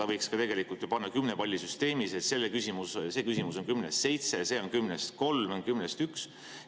Ta võiks tegelikult ju panna siis kümnepallisüsteemis punkte, et see küsimus saab kümnest pallist seitse, see kümnest kolm või kümnest ühe.